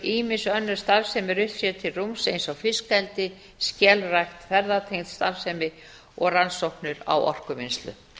ýmiss önnur starfsemi rutt sér til rúms eins og fiskeldi skelrækt ferðatengd starfsemi og rannsóknir á orkuvinnslu